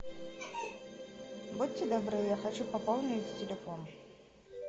будьте добры я хочу пополнить телефон